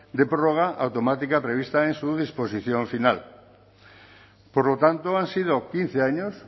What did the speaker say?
de prórroga automática prevista en su disposición final por lo tanto han sido quince años